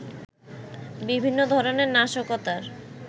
বিভিন্ন ধরনের নাশকতার